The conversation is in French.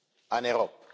en Europe.